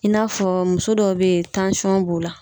I n'a fɔ muso dɔw be yen b'u la